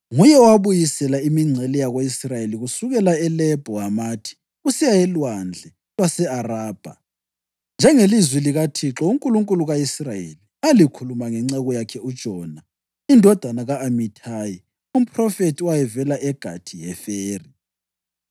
Nguye owabuyisela imingcele yako-Israyeli kusukela eLebho Hamathi kusiya eLwandle lwase-Arabha, njengelizwi likaThixo, uNkulunkulu ka-Israyeli, alikhuluma ngenceku yakhe uJona indodana ka-Amithayi, umphrofethi owayevela eGathi-Heferi.